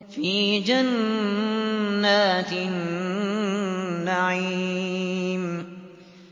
فِي جَنَّاتِ النَّعِيمِ